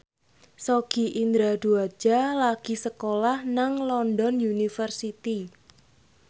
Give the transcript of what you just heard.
Sogi Indra Duaja lagi sekolah nang London University